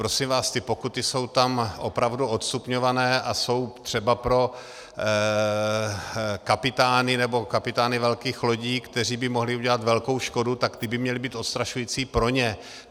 Prosím vás, ty pokuty jsou tam opravdu odstupňované a jsou třeba pro kapitány, nebo kapitány velkých lodí, kteří by mohli udělat velkou škodu, tak ty by měly být odstrašující pro ně.